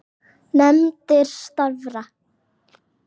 Nefndir starfa